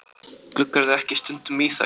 Gluggarðu ekki stundum í þær?